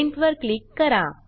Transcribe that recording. Printवर click करा